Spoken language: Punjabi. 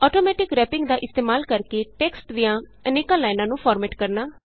ਆਟੌਮੈਟਿਕ ਰੈਪਿੰਗ ਦਾ ਇਸਤੇਮਾਲ ਕਰਕੇ ਟੈਕਸਟ ਦੀਆਂ ਅਨੇਕ ਲਾਈਨਾਂ ਨੂੰ ਫਾਰਮੈਟ ਕਰਨਾ